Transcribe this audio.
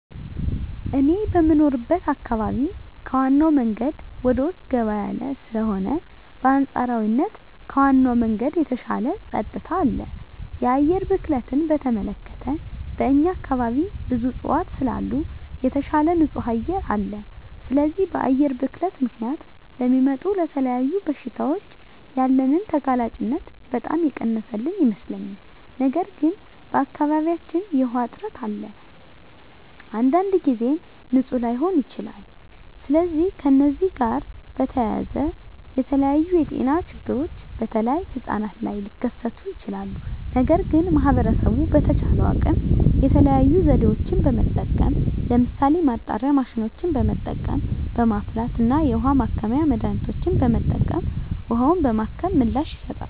እኔ የምኖርበት አካባቢ ከዋናው መንገድ ወደ ውስጥ ገባ ያለ ስለሆነ በአንፃራዊነት ከዋናው መንገድ የተሻለ ፀጥታ አለ። የአየር ብክለትን በተመለከተ በእኛ አካባቢ ብዙ እፅዋት ስላሉ የተሻለ ንፁህ አየር አለ። ስለዚህ በአየር ብክለት ምክንያት ለሚመጡ ለተለያዩ በሽታዎች ያለንን ተጋላጭነት በጣም የቀነሰልን ይመስለኛል። ነገር ግን በአካባቢያችን የዉሃ እጥረት አለ። አንዳንድ ጊዜም ንፁህ ላይሆን ይችላል። ስለዚህ ከዚህ ጋር በተያያዘ የተለያዩ የጤና ችግሮች በተለይ ህጻናት ላይ ሊከስቱ ይችላሉ። ነገር ግን ማህበረሰቡ በተቻለው አቅም የተለያዩ ዘዴዎችን በመጠቀም ለምሳሌ ማጣሪያ ማሽኖችን በመጠቀም፣ በማፍላት እና የውሀ ማከሚያ መድሀኒቶችን በመጠቀም ውሀውን በማከም ምላሽ ይሰጣሉ።